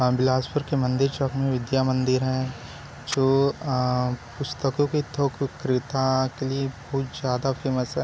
आ बिलासपुर के मंदिर चौक में विद्या मंदिर है जो पुस्तकों के आ थोक विक्रेता के लिए कुछ ज़्यादा फेमस हैं।